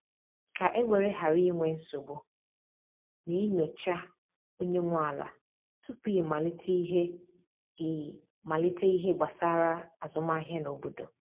ka e were ghara inwe nsogbu, na e nyocha onye nwe ala tupu i malite ihe i malite ihe gbasara azụmahịa n’obodo